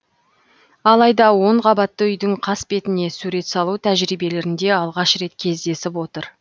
алайда он қабатты үйдің қасбетіне сурет салу тәжірибелерінде алғаш рет кездесіп отыр